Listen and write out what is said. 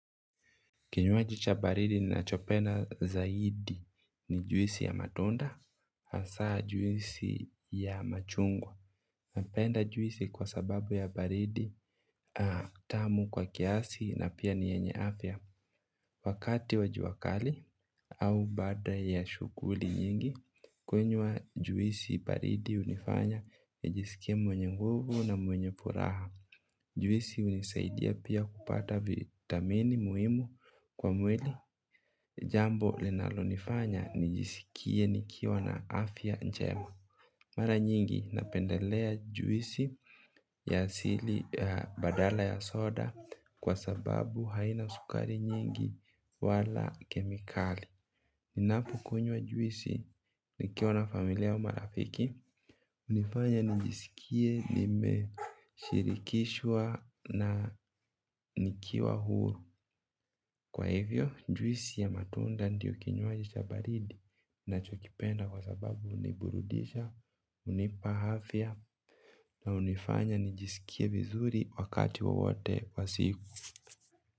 Kinywaji cha baridi ninachopenda zaidi ni juisi ya matunda hasaa juisi ya machungwa. Napenda juisi kwa sababu ya baridi tamu kwa kiasi na pia ni yenye afya. Wakati wa jua kali au baada ya shughuli nyingi kuinywa juisi baridi hunifanya nijisikie mwenye nguvu na mwenye furaha. Juisi hunisaidia pia kupata vitamini muhimu kwa mwili jambo linalonifanya nijisikie nikiwa na afya njema. Mara nyingi napendelea juisi ya asili badala ya soda kwa sababu haina sukari nyingi wala kemikali. Ninapokunywa juisi nikiwa na familia au marafiki hunifanya nijisikie nimeshirikishwa na nikiwa huru. Kwa hivyo, juisi ya matunda ndiyo kinywa cha baridi ninachokipenda kwa sababu huniburudisha, hunipa afya. Na hunifanya nijisikie vizuri wakati wowote wa siku.